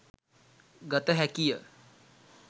ගත හැකිය.